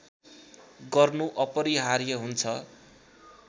गर्नु अपरिहार्य हुन्छ